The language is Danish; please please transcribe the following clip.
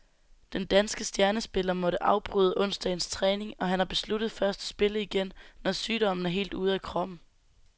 Den danske stjernespiller måtte afbryde onsdagens træning, og han har besluttet først at spille igen, når sygdommen er helt ude af kroppen.